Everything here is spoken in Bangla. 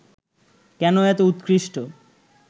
কেন এত উৎকৃষ্ট